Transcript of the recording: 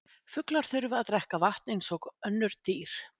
Fuglar þurfa að drekka vatn eins og önnur dýr.